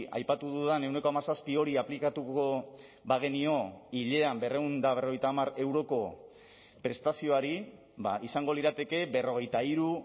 aipatu dudan ehuneko hamazazpi hori aplikatuko bagenio hilean berrehun eta berrogeita hamar euroko prestazioari izango lirateke berrogeita hiru